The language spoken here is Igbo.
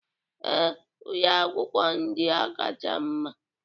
Ee, ụlọ akwụkwọ ndị a kacha mma